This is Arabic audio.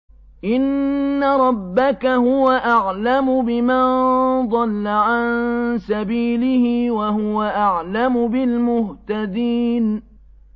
إِنَّ رَبَّكَ هُوَ أَعْلَمُ بِمَن ضَلَّ عَن سَبِيلِهِ وَهُوَ أَعْلَمُ بِالْمُهْتَدِينَ